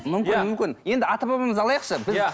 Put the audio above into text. мүмкін мүмкін енді ата бабамызды алайықшы иә